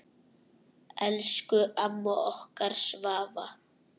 Elsku amma okkar Svava.